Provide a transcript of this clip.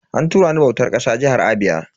An tura ni bautar ƙasa jihar Abia.